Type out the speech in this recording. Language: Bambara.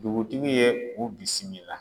Dugutigi ye u bisimila.